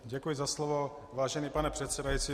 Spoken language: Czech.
Děkuji za slovo, vážený pane předsedající.